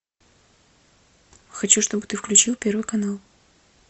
хочу чтобы ты включил первый канал